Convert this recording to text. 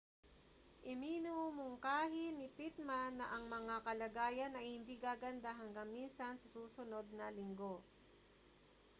iminungkahi ni pittman na ang mga kalagayan ay hindi gaganda hanggang minsan sa susunod na linggo